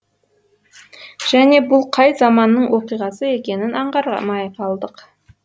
және бұл қай заманның оқиғасы екенін аңғармай қалдық